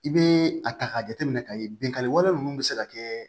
I bɛ a ta k'a jateminɛ ka ye binkani wɛrɛ ninnu bɛ se ka kɛ